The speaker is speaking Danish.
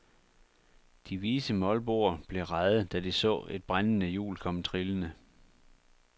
De vise molboer blev rædde, da de så et brændende hjul komme trillende.